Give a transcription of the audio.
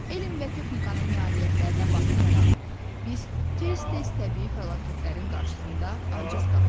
Elm və texnikanın nailiyyətlərinə baxmayaraq, biz tez-tez təbii fəlakətlərin qarşısında aciz qalırıq.